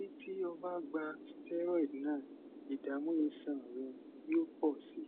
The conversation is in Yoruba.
títí o bá gba steroid náà ìdààmú iṣan rẹ yóò pọ sí i